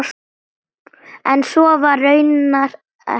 En svo var raunar ekki.